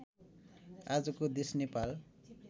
आजको देश नेपाल